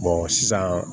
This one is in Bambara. sisan